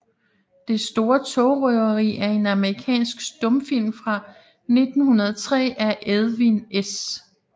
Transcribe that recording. Det store togrøveri er en amerikansk stumfilm fra 1903 af Edwin S